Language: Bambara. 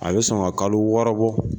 A be sɔn ka kalo wɔɔrɔ bɔ.